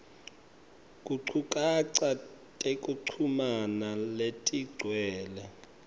tinchukaca tekuchumana letigcwele